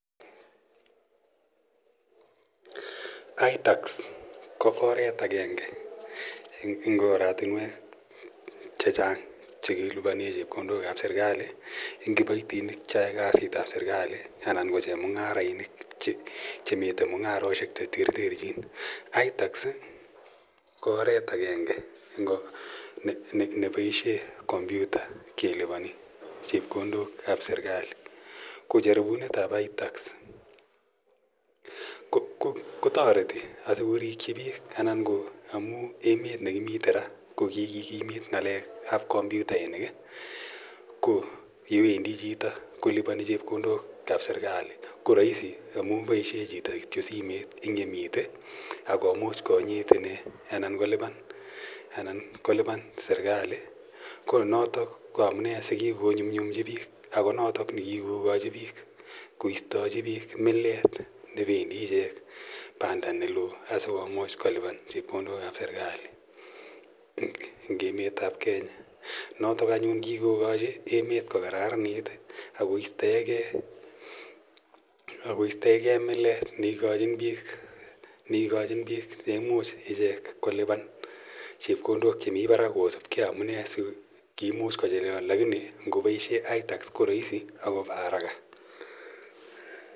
Itax ko oret agenge eng' oratunwek che chang' che kilipane chepkondok ap serkali eng' kipatinik che yae kasit ap serikali anan ko chemung'arainik che mitei mung'aroshek che terterchin. Itax ko oret agenge ne paishe kompyuta kelipani chepkondok ap serkali. Ko jaribunet ap itax ko tareti asikorikchi piik anan ko amu emet ne kimite ra ko kikimit ng'alek ap kompyutainik i, ko ye wendi chito kolipani chepkondok ap serkali ko raisi amu paishe chito kiyo simet eng' yemite ak komuch konyit ine anan kolipan serkali. Ko notok ko amune si kiko nyumnyumchi piik. Ako notok ne kikokachi piik koistachi piik milet ne pendi ichek panda ne lo asikomuch kolipan chepkondok ap serkali eng' emet ap Kenya. Notok anyun ko kikokachi emet ko kararanit akp istae ge mileet ne ikachin piik che imuch ichek kolipan chepkondok che mi parak kosupgei amune si kiimuch kochelewan lakini ngopaishe itax ko raisi ako pa araka.